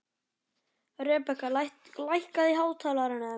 Rebekka, lækkaðu í hátalaranum.